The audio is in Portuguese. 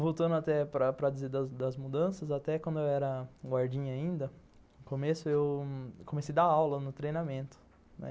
Voltando até para para dizer das mudanças, até quando eu era guardinha ainda, eu comecei a dar aula no treinamento, né.